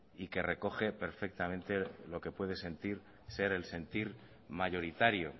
y que recoge perfectamente lo que puede ser el sentir mayoritario